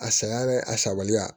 A saya dɛ a sabaliya